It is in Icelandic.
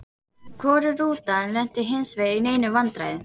Hvorug rútan lenti hinsvegar í neinum vandræðum.